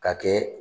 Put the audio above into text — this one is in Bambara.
Ka kɛ